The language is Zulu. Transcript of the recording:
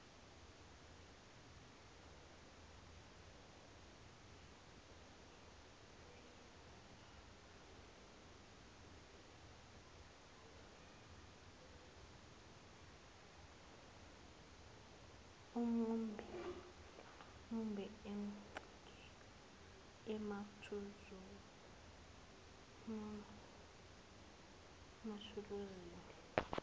mumbe oncike emathuluzini